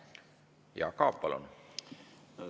Jaak Aab, palun!